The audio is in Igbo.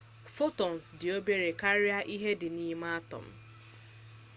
photons dị obere karịa ihe dị n'ime atom